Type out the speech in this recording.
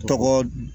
Tɔgɔ